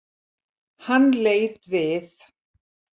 Hann leit við.